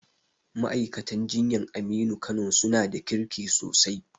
Ma'aikatan jinyan Aminu Kano su na da kirki sosai